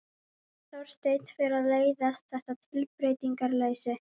Þorsteini fer að leiðast þetta tilbreytingarleysi.